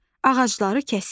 Ağacları kəsir.